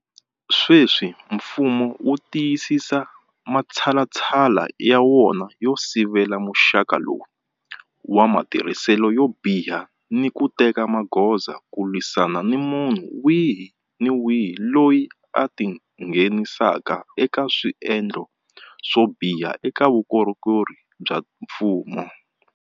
Sweswi mfumo wu tiyisisa matshalatshala ya wona yo sivela muxaka lowu wa matirhiselo yo biha ni ku teka magoza ku lwisana ni munhu wihi ni wihi loyi a tingheni saka eka swendlo swo biha eka vukorhokeri bya mfumo.